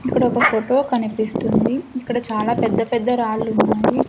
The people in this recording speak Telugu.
ఇక్కడ ఒక ఫోటో కనిపిస్తుంది ఇక్కడ చాలా పెద్ద పెద్ద రాళ్ళు ఉన్నాయి.